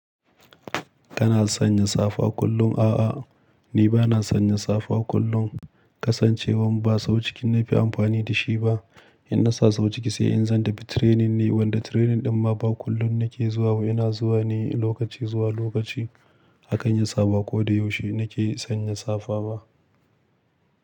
Kana sanya safa kullum? A'a, ni ba na san ni safa kullum. Kasancewan ba sau ciki nake amfani da shi ba. In na sa sau ciki sai in zan tafi training ne wanda training ɗin ma ba kullum nake zuwa ba. Ina zuwa ne lokaci zuwa lokaci. Hakan ya sa ba ko da yaushe nake sanya safa ba.